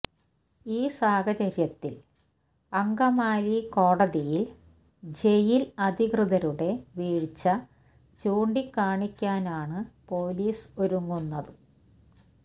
ഈ സാഹചര്യത്തില് അങ്കമാലി കോടതിയില് ജയില് അധികൃതരുടെ വീഴ്ച ചൂണ്ടികാണിക്കാനാണ് പൊലീസ് ഒരുങ്ങുന്നത്